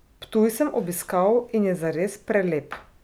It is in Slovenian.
Ptuj sem obiskal in je zares prelep.